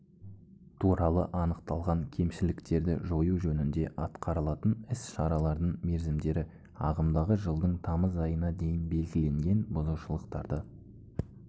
туралы анықталған кемшіліктерді жою жөнінде атқарылатын іс-шаралардың мерзімдері ағымдағы жылдың тамыз айына дейін белгіленген бұзушылықтарды